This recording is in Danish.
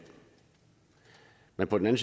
men på den